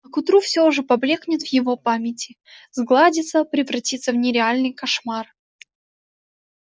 к утру всё уже поблёкнет в его памяти сгладится превратится в нереальный кошмар